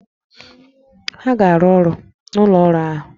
Ha ga-arụ ọrụ n'ụlọ ọrụ ahụ!